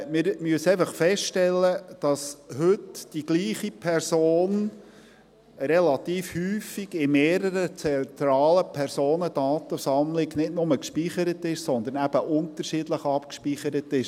Wir müssen einfach feststellen, dass heute die gleiche Person relativ häufig in mehreren zentralen Personendatensammlungen nicht nur gespeichert ist, sondern eben unterschiedlich abgespeichert ist;